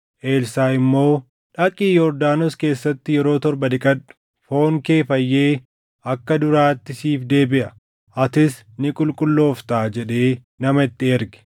Elsaaʼi immoo, “Dhaqii Yordaanos keessatti yeroo torba dhiqadhu; foon kee fayyee akka duraatti siif deebiʼa; atis ni qulqullooftaa” jedhee nama itti erge.